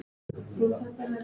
Horfði út á sjóinn.